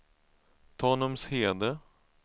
Tanumshede